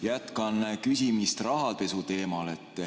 Jätkan küsimist rahapesu teemal.